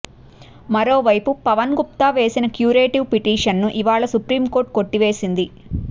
మరో వైపు పవన్ గుప్తా వేసిన క్యురేటివ్ పిటిషన్ ను ఇవాళ సుప్రీం కోర్టు కొట్టివేసింది